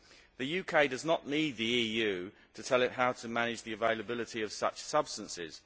The UK does not need the EU to tell it how to manage the availability of such substances.